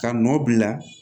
Ka nɔ bila